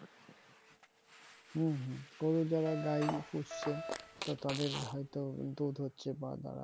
হম হম গরু যারা গাই পুষছে তো তাদের হয়তো দুধ হচ্ছে বা তারা